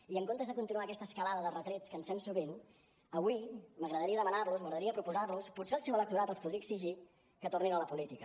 i en comptes de continuar aquesta escalada de retrets que ens fem sovint avui m’agradaria demanar los m’agradaria proposar los potser el seu electorat els podria exigir que tornessin a la política